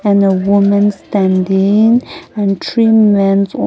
and a woman standing and three men um--